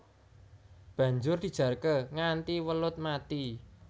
Banjur dijarké nganti welut mati